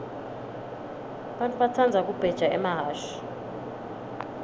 bantfu batsandza kubheja emahhashi